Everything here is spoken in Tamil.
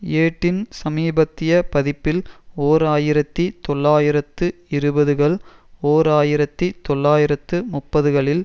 ஏட்டின் சமீபத்திய பதிப்பில் ஓர் ஆயிரத்தி தொள்ளாயிரத்து இருபதுகள் ஓர் ஆயிரத்தி தொள்ளாயிரத்து முப்பதுகளில்